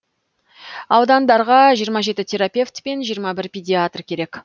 аудандарға жиырма жеті терапевт пен жиырма бір педиатр керек